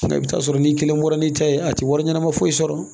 I bɛ taa sɔrɔ n'i kelen bɔra n'i ta ye a tɛ wari ɲɛnama foyi sɔrɔ